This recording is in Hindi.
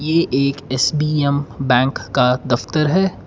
ये एक एस_बी_एम बैंक का दफ्तर है।